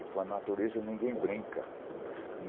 E com a natureza ninguém brinca.